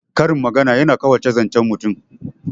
Karin magana yana ƙawata zancen mutum